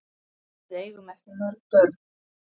Við eigum ekki mörg börn.